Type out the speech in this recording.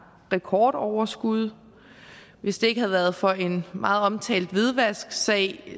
rekordoverskud hvis det ikke havde været for en meget omtalt hvidvasksag